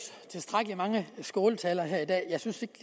tilstrækkelig mange skåltaler her i dag jeg synes